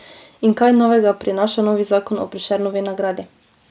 In kaj novega prinaša novi zakon o Prešernovi nagradi?